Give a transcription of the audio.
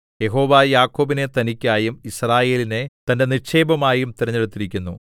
യഹോവ യാക്കോബിനെ തനിക്കായും യിസ്രായേലിനെ തന്റെ നിക്ഷേപമായും തിരഞ്ഞെടുത്തിരിക്കുന്നു